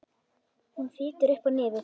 Hún fitjar upp á nefið.